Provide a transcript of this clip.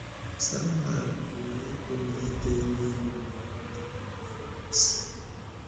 Sámuẹl pụrụ ịgụ na ide ihe mgbe ọ dị afọ isii.